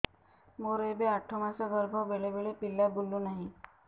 ମୋର ଏବେ ଆଠ ମାସ ଗର୍ଭ ବେଳେ ବେଳେ ପିଲା ବୁଲୁ ନାହିଁ